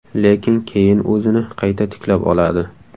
Lekin keyin o‘zini qayta tiklab oladi.